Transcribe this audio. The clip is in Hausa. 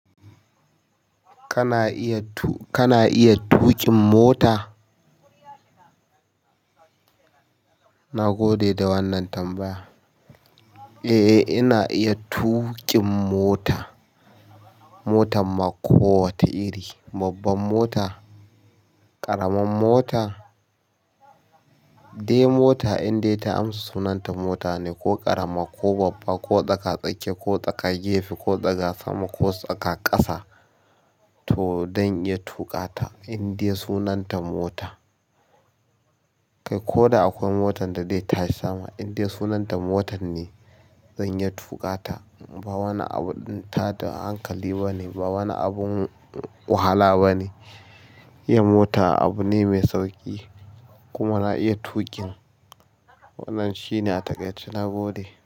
Kana iya tu-- kana iya tuƙin mota? Na gode da wannan tambaya. Eh, eh ina iya tuƙin mota. Motan ma ko wace iri, babban mota, ƙaramin mota, eh mota indai ta amsa sunanta mota ne ko ƙarama, ko babba, ko tsaka-tsake, ko tsaka gefe, ko tsaka sama, ko tsaka ƙasa to zan iya tuƙa ta indai sunanta mota. Kai ko da akwai motan da zai tashi sama indai sunan ta mota ne. Zan iya tuƙa ta. Ba wani abun tada hankali ba ne, ba wani abun wahala ba ne. Iya mota abu ne mai sauƙi kuma na iya tuƙin. Wannan shi ne a taƙaice na gode.